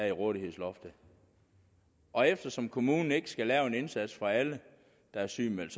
i rådighedsloftet og eftersom kommunen ikke skal lave en indsats for alle der er sygemeldt